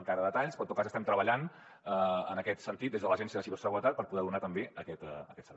encara detalls però en tot cas estem treballant en aquest sentit des de l’agència de ciberseguretat per poder donar també aquest servei